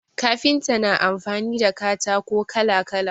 Kafinta na amfani da katako kala kala